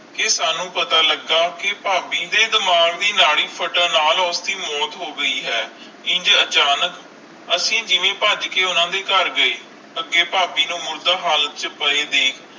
ਤੇ ਸਾਨੂ ਪਤਾ ਲਗਾ ਕ ਭਾਭੀ ਦੇ ਡਿਮਾਂਘ ਦੇ ਨਾਲਿ ਫਾਟਾਂ ਨਾਲ ਉਸ ਦੇ ਮੌਤ ਹੋ ਗਈ ਹੈ ਇੰਜ ਅਚਾਨਕ ਅਸੀਂ ਜਿਵੇ ਪਾਜ ਕੇ ਉਨ੍ਹਾਂ ਦੇ ਕਰ ਗਏ ਅਗੈ ਭਾਭੀ ਨੂੰ ਮੁਰਦਾ ਹਾਲਤ ਚ ਪਈ ਦੇਖ